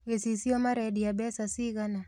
Gĩcicio marendia mbeca cigana?